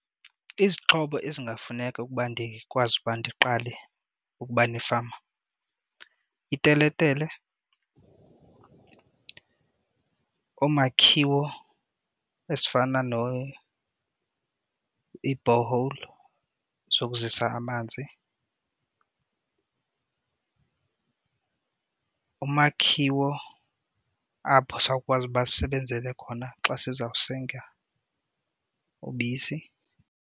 Izixhobo ezingafuneka ukuba ndikwazi uba ndiqale ukuba nefama iiteletele, oomakhiwo ezifana ii-borehole zokuzisa amanzi, umakhiwo apho sawukwazi uba sisebenzele khona xa sizawusenga ubisi.